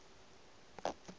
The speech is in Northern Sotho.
na o be a thiša